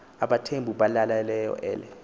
abathembu balaleleyo ele